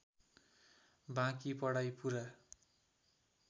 बाँकी पढाइ पूरा